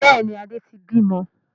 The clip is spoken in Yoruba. Bẹ́ẹ̀ni, Adé tí bí mọ.